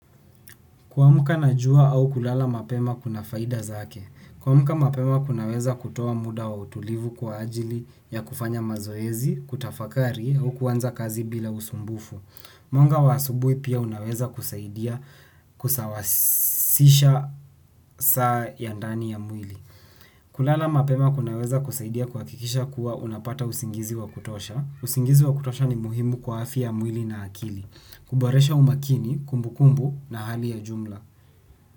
Kuamka na jua au kulala mapema kuna faida zake. Kuamka mapema kunaweza kutoa muda wa utulivu kwa ajili ya kufanya mazoezi, kutafakari au kuanza kazi bila usumbufu. Mwanga wa asubuhi pia unaweza kusaidia kusawazisha saa ya ndani ya mwili. Kulala mapema kunaweza kusaidia kuhakikisha kuwa unapata usingizi wa kutosha. Usingizi wa kutosha ni muhimu kwa afya ya mwili na akili. Kuboresha umakini, kumbukumbu na hali ya jumla.